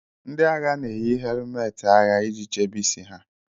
Ndị agha na-eyi helụmetị agha iji chebe isi ha